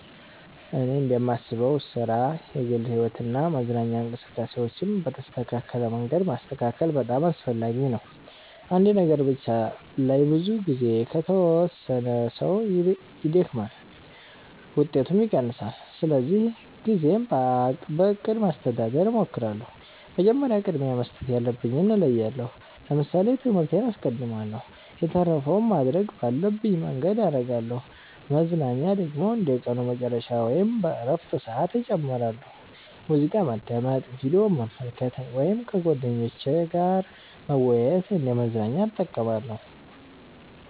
እኔ እንደማስበው ሥራ፣ የግል ሕይወት እና መዝናኛ እንቅስቃሴዎችን በተስተካከለ መንገድ ማስተካከል በጣም አስፈላጊ ነው። አንድ ነገር ብቻ ላይ ብዙ ጊዜ ከተወሰነ ሰው ይደክማል፣ ውጤቱም ይቀንሳል። ስለዚህ ጊዜን በእቅድ ማስተዳደር እሞክራለሁ። መጀመሪያ ቅድሚያ መስጠት ያለብኝን እለያለሁ ለምሳሌ ትምህርቴን አስቀድማለሁ የተረፈውን ማድረግ ባለብኝ መንገድ አረጋለሁ መዝናኛ ደግሞ እንደ ቀኑ መጨረሻ ወይም በእረፍት ሰዓት እጨምራለሁ። ሙዚቃ ማዳመጥ፣ ቪዲዮ መመልከት ወይም ከጓደኞች ጋር መወያየት እንደ መዝናኛ እጠቀማለሁ።